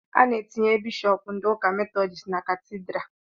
A na-etinye bishọpu ndị ụka metọdist na katidra